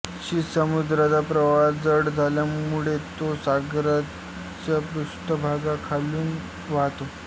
शीत समुद्राचा प्रवाह जड असल्यामुळे तो सागरजलाच्या पृष्ठभागाखालून वाहतो